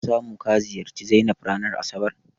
Ka samu ka ziyarci Zainab ranar asabar?